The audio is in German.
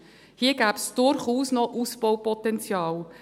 Hier gäbe es durchaus noch Ausbaupotenzial.